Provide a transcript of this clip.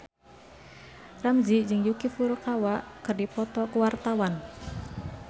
Ramzy jeung Yuki Furukawa keur dipoto ku wartawan